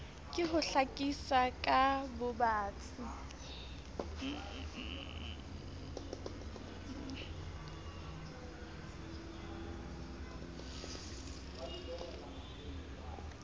ke ho hlakisa ka bobatsi